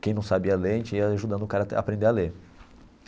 Quem não sabia ler, a gente ia ajudando o cara a aprender a ler.